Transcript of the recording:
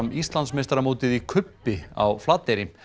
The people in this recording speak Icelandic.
Íslandsmeistaramótið í kubbi á Flateyri